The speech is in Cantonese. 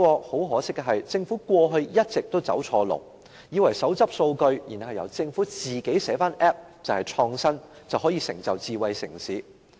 很可惜，政府過去一直走錯路，以為手執數據，然後由政府自行寫 Apps 便是創新，可以成就智慧城市。